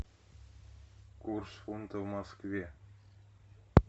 курс фунта в москве